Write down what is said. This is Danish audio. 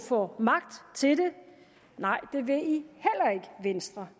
får magt til det nej det vil venstre